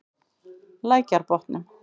Lækjarbotnum